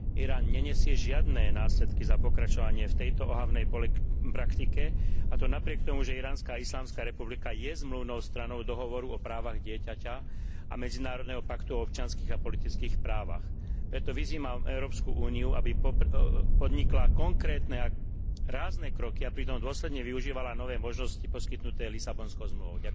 Irán nenesie žiadne následky za pokračovanie v tejto ohavnej praktike, a to napriek tomu, že Iránska islamská republika je zmluvnou stranou Dohovoru o právach dieťaťa a Medzinárodného paktu o občianskych a politických právach. Preto vyzývam Európsku úniu, aby podnikla konkrétne a rázne kroky, a pritom dôsledne využívala nové možnosti poskytnuté Lisabonskou zmluvou.